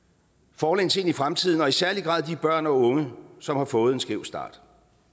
forlæns ind i fremtiden og i særlig grad de børn og unge som har fået en skæv start